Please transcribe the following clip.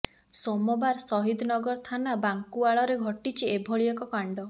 ସୋମବାର ସହିଦନଗର ଥାନା ବାଙ୍କୁଆଳରେ ଘଟିଛି ଏଭଳି ଏକ କାଣ୍ଡ